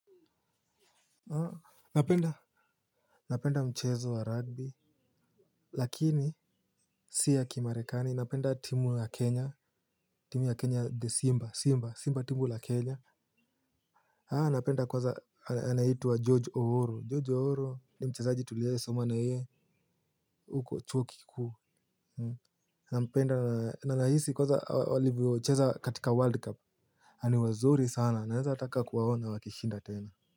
Napenda napenda mchezo wa rugby lakini si ya kimarekani napenda timu ya Kenya timu ya Kenya de simba simba simba timu la kenya napenda kwanza anaitwa George Owuor. George Owuor ni mchezaji tuliwahi soma na yeye huko chuo kikuu. Nampenda na nahisi kwanza alivyocheza katika world cup na ni wazuri sana nawezataka kuwaona wakishinda tena.